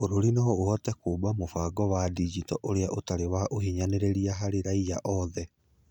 Bũrũri no ũhote kũũmba mũbango wa digito ũrĩa ũtarĩ wa ũhinyanĩrĩria na ũtarĩ wa ũhinyanĩrĩria harĩ raiya othe.